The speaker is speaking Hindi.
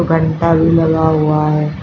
पंटा भी लगा हुआ है।